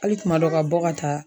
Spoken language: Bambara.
Ali kuma dɔ ka bɔ ka taa